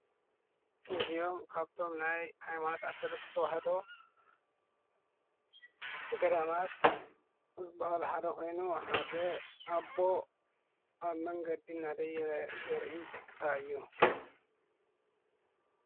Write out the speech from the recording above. እዚኦም ካብቶም ናይ ኃይማኖት ኦርቶዶክስ ተዋህዶ ገዳማት ዝብሃሉ ሓደ ኾይኑ፣ ሓደ ኣቦ ኣብ መንገዲ ናደየበ ዘርኢ እንታይ እዩ?